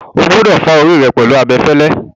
O gbúdọ̀ fá orí rẹ pẹ̀lú abẹfẹ́lẹ́.